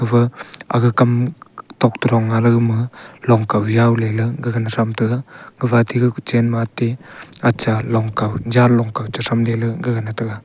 epha aga kam tokte dong nga le gama long kau jau lela gaga ne tham tega gapha atey ga kochen ma atey acha long kau janlong kau chetham de le gaga ne tega.